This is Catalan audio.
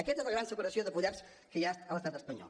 aquesta és la gran separació de poders que hi ha a l’estat espanyol